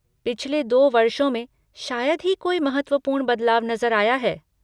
पिछले दो वर्षों में शायद ही कोई महत्वपूर्ण बदलाव नज़र आया है।